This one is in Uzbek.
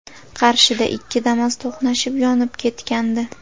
Qarshida ikki Damas to‘qnashib, yonib ketgandi.